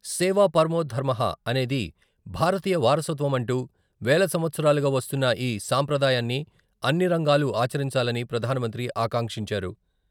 సేవా పరమో ధర్మహా అనేది భారతీయ వారసత్వం అంటూ వేల సంవత్సరాలుగా వస్తున్న ఈ సాంప్రదాయాన్ని అన్ని రంగాలు ఆచరించాలని ప్రధానమంత్రి ఆకాంక్షించారు.